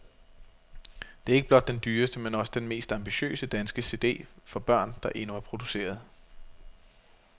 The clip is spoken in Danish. Det er ikke blot den dyreste, men også den mest ambitiøse danske CD for børn, der endnu er produceret.